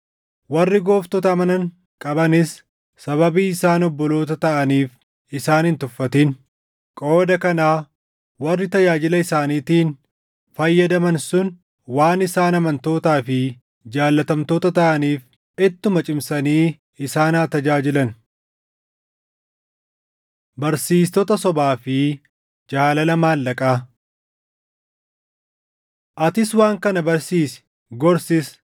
Warri gooftota amanan qabanis sababii isaan obboloota taʼaniif isaan hin tuffatin. Qooda kanaa warri tajaajila isaaniitiin fayyadaman sun waan isaan amantootaa fi jaallatamtoota taʼaniif ittuma cimsanii isaan haa tajaajilan. Barsiistota Sobaa fi Jaalala Maallaqaa Atis waan kana barsiisi; gorsis.